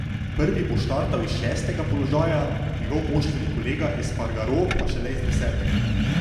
Prvi bo startal s šestega položaja, njegov moštveni kolega Espargaro pa šele z desetega.